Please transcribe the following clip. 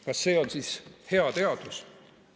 Kas see on siis hea teadus?